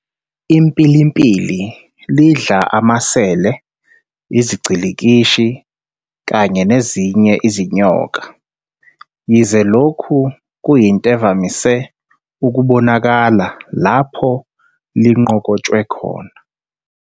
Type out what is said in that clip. "IMpilimpili lidla amaSele, iziGcilikishi, kanye nezinye izinyoka, Yize lokhu kuyinte evamise ukubonakala lapho linqokotshwe khona".